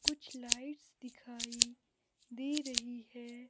कुछ लाइट्स दिखाई दे रही है।